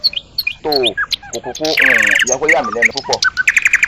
toò kò kúkú um yẹ kó yàmí lẹnu púpọ